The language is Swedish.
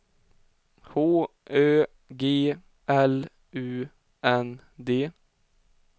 H Ö G L U N D